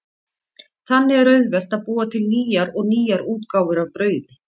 Þannig er auðvelt að búa til nýjar og nýjar útgáfur af brauði.